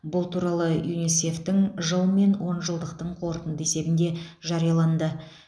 бұл туралы юнисеф тің жыл мен онжылдықтың қорытынды есебінде жарияланды